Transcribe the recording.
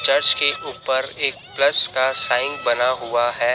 Church के ऊपर एक प्लस का साइन बना हुआ है।